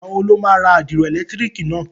Ìgbà wo ni oó lọ rà àdìro ẹ̀lẹ̀tírìkì náà?